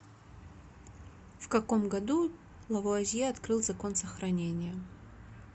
в каком году лавуазье открыл закон сохранения